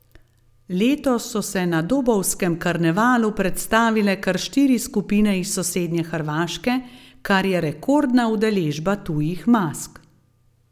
Letos so se na dobovskem karnevalu predstavile kar štiri skupine iz sosednje Hrvaške, kar je rekordna udeležba tujih mask.